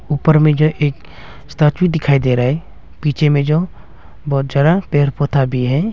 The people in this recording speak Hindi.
ऊपर में जो एक स्टेच्यू दिखाई दे रहा है पीछे में जो बहुत सारा पेर पौधा भी है।